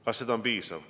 Kas see on piisav?